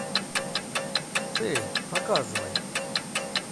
цель показывай